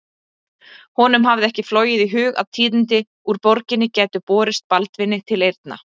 Honum hafði ekki flogið í hug að tíðindi úr borginni gætu borist Baldvini til eyrna.